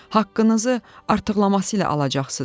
Haqqınızı artıqlaması ilə alacaqsınız.